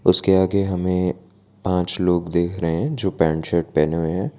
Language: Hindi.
उसके आगे हमें पांच लोग देख रहे हैं जो पैंट शर्ट पहने हुए हैं।